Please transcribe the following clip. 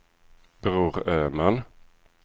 Bror Öman